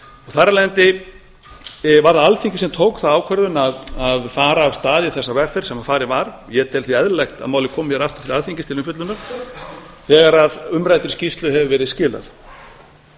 þar af leiðandi var það alþingi sem tók þá ákvörðun að fara af stað í þessa vegferð sem farin var ég tel því eðlilegt að málið komi aftur til alþingis til umfjöllunar þegar umræddri skýrslu hefur verið skilað